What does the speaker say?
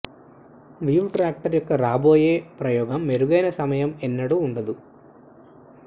weave tracker యొక్క రాబోయే ప్రయెగం మెరుగైన సమయం ఎన్నడూ ఉండదు